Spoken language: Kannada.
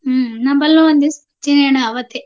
ಹ್ಮ್ ನಮ್ಮಲ್ಲೂ ಒಂದಿವ್ಸ್ ಮುಂಚಿನೆ ಅಣ್ಣ ಅವತ್ತೇ.